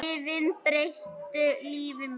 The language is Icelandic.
Lyfin breyttu lífi mínu.